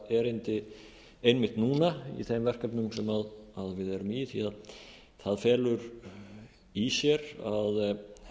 erindi einmitt núna í þeim verkefnum sem við erum í því það felur í sér að